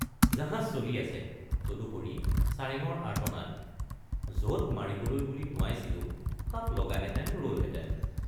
জাহাজ চলি আছে তদুপৰি চাৰেঙৰ আৰ্তনাদ—যত মাৰিবলৈ বুলি টোঁৱাইছিলোঁ তাত লগাহেঁতেন ৰলহেঁতেন।